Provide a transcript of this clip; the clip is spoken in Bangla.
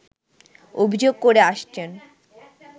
অভিযোগ করে আসছেন